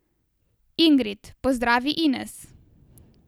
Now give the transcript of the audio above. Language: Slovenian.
Ingrid, pozdravi Ines.